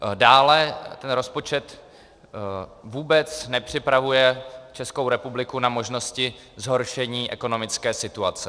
Dále ten rozpočet vůbec nepřipravuje Českou republiku na možnosti zhoršení ekonomické situace.